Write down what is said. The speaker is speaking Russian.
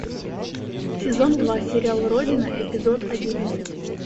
сезон два сериал родина эпизод одиннадцать